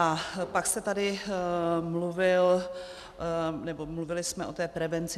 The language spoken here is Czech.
A pak jste tady mluvil, nebo mluvili jsme o té prevenci.